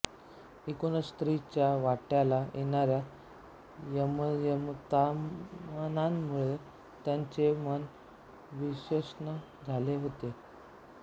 एकूणच स्त्री च्या वाट्याला येणाऱ्या यमयताणांमुळे त्यांचे मन विषन्न झाले होते